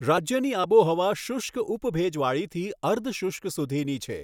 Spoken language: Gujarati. રાજ્યની આબોહવા શુષ્ક ઉપ ભેજવાળીથી અર્ધ શુષ્ક સુધીની છે.